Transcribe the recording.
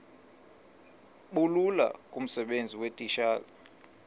bulula kumsebenzi weetitshala